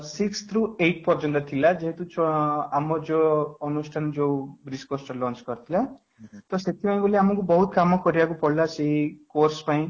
sixth ରୁ eight ପର୍ଯ୍ୟନ୍ତ ଥିଲା ଯେହେତୁ ଛୁଆଁ ଅଂ ଆମ ଯୋଉ ଅନୁଷ୍ଠାନ ଯୋଉ BLIS course lunch କରିଥିଲା ତ ସେଥିପାଇଁ ଆମକୁ ବହୁତ କାମ କରିବାକୁ ପଡିଲା ସେ course ପାଇଁ